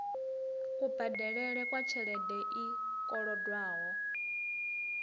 kubadelele kwa tshelede i kolodwaho